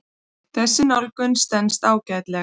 Þessi nálgun stenst ágætlega.